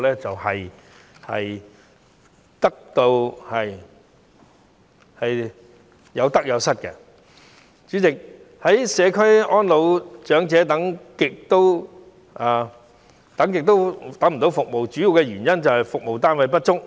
主席，願意居家安老的長者輪候很久也等不到社區服務，主要原因便是服務單位不足。